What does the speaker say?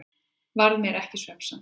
Varð mér ekki svefnsamt.